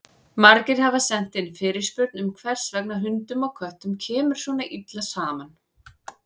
Margir hafa sent inn fyrirspurn um hvers vegna hundum og köttum kemur svona illa saman.